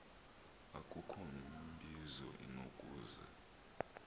akukho mbizo inokuze